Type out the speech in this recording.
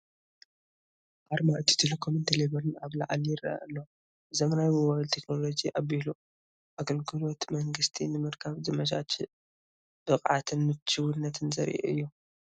ኣርማ ኢትዮ ቴሌኮምን ቴሌቢርን ኣብ ላዕሊ ይርአ ኣሎ። ብዘመናዊ ሞባይል ቴክኖሎጂ ኣቢሉ ኣገልግሎት መንግስቲ ንምርካብ ዘመቻችእ፣ ብቕዓትን ምቹውነትን ዘርኢ እዩ፡፡